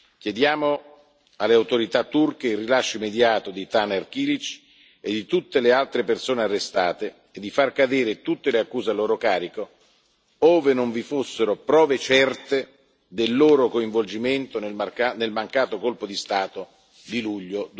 Chiediamo alle autorità turche il rilascio immediato di Taner Kilic e di tutte le altre persone arrestate e di far cadere tutte le accuse a loro carico, ove non vi fossero prove certe del loro coinvolgimento nel mancato colpo di Stato di luglio